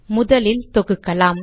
முதலில் தொகுக்கலாம்